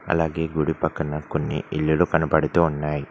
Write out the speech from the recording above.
అలాగే గుడి పక్కన కొన్ని ఇల్లులు కనబడుతూ ఉన్నాయి.